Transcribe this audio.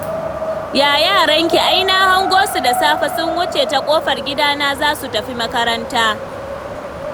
Ya yaranki? ai na hango su da safe sun wuce ta ƙofar gidana da za su tafi makaranta